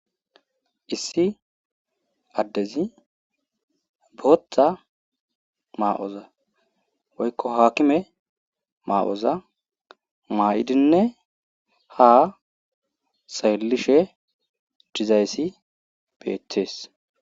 issi addezi booththa maa7oza woykko haakime maa7oza maa7idinne ha sayllishe dizayssi beetees